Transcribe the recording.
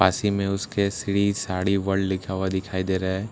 पास ही में उसके श्री साड़ी वल्ड़ लिखा हुआ दिखाई दे रहा है उस --